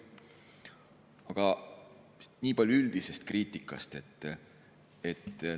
Aga niipalju üldisest kriitikast.